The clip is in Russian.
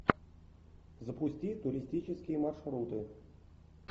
запусти туристические маршруты